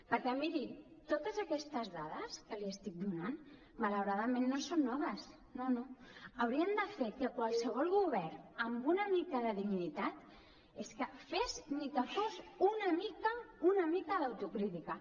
perquè miri totes aquestes dades que li estic donant malauradament no són noves no no haurien de fer que qualsevol govern amb una mica de dignitat fes ni que fos una mica una mica d’autocrítica